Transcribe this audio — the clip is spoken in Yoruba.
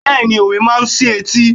Bẹ́ẹ̀ni, òwe máa ń sí etí.